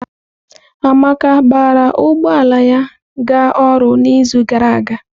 Amaka gbara ụgbọ ala ya ga ọrụ n'izu gara aga?